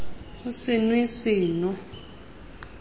o se nw e seno